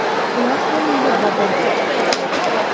Ular ham meni bobo deb chaqirishadi.